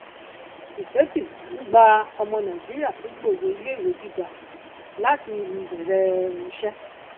tizeti um gba ọmọ nàìjíríà tó gbòye ilé ìwé gíga láti um bèèrè um iṣẹ